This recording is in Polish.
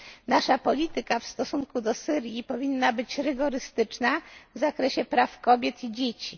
Nasza polityka w stosunku do Syrii powinna być rygorystyczna w zakresie praw kobiet i dzieci.